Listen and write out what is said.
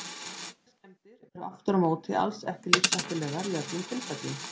Heilaskemmdir eru aftur á móti alls ekki lífshættulegar í öllum tilfellum.